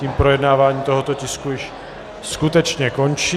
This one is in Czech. Tím projednávání tohoto tisku již skutečně končí.